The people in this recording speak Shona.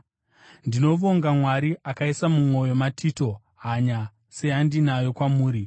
Ndinovonga Mwari, akaisa mumwoyo maTito hanya seyandinayo kwamuri.